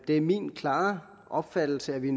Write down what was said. det er min klare opfattelse at vi